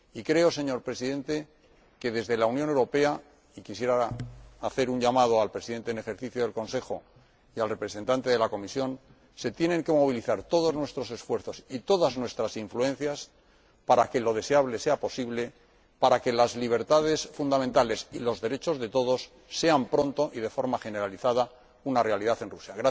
Creo, señor Presidente, que desde la Unión Europea quisiera hacer un llamamiento al Presidente en ejercicio del Consejo y al representante de la Comisión se tienen que movilizar todos nuestros esfuerzos y todas nuestras influencias para que lo deseable sea posible, para que las libertades fundamentales y los derechos de todos sean pronto, y de forma generalizada, una realidad en Rusia.